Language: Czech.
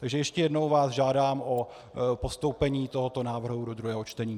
Takže ještě jednou vás žádám o postoupení tohoto návrhu do druhého čtení.